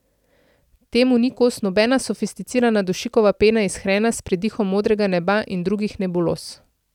Temu ni kos nobena sofisticirana dušikova pena iz hrena s pridihom modrega neba in drugih nebuloz.